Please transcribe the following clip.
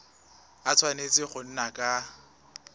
a tshwanetse go nna ka